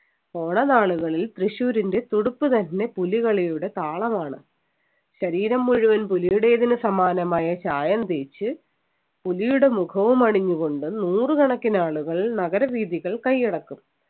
ഓണ നാളുകളിൽ തൃശ്ശൂരിൻ്റെ തുടിപ്പ് തന്നെ പുലികളിയുടെ താളമാണ് ശരീരം മുഴുവനും പുലിയുടെതിനു സമാനമായ ചായം തേച്ച് പുലിയുടെ മുഖവും അണിഞ്ഞുകൊണ്ട് നൂറു കണക്കിനാളുകൾ നഗരവീഥികൾ കൈയ്യടക്കും